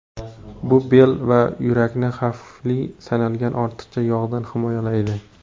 Bu bel va yurakni xavfli sanalgan ortiqcha yog‘dan himoyalaydi.